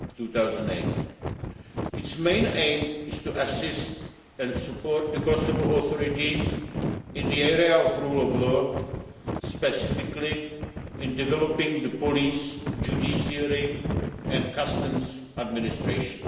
2008. Its main aim is to assist and support the Kosovo authorities in the area of the rule of law, specifically in developing the police, judiciary and customs administration.